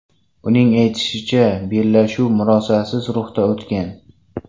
Uning aytishicha, bellashuv murosasiz ruhda o‘tgan.